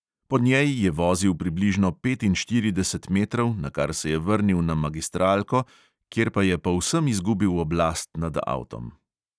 Po njej je vozil približno petinštirideset metrov, nakar se je vrnil na magistralko, kjer pa je povsem izgubil oblast nad avtom.